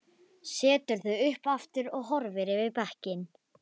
Setur þau upp aftur og horfir yfir bekkinn.